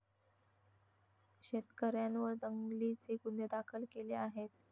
शेतकऱ्यांवर दंगलीचे गुन्हे दाखल केले आहेत.